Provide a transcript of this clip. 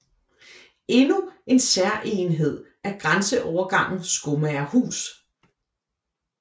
Endnu en særegenhed er grænseovergangen Skomagerhus